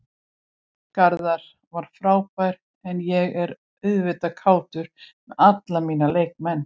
Garðar var frábær en ég er auðvitað kátur með alla mína leikmenn.